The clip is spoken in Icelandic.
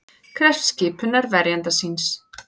Krefst skipunar verjanda síns